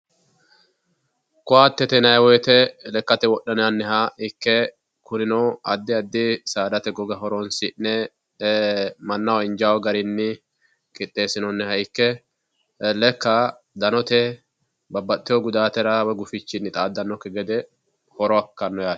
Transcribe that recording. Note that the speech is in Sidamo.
Koattete yinnanni woyte lekkate wodhinanniha ikke kunino addi addi saadate goga horonsi'ne e"ee mannaho injano garinni qixxeesinonniha ikke lekka danotenni babbaxewo gudatira woyi gufichira xaadanokki gede horo ikkano yaate.